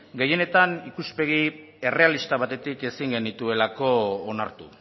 gehienetan ikuspegi errealista batetik ezin genituelako onartu